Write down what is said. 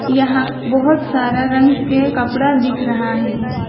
यहां बहुत सारा रंग के कपड़ा दिख रहा है।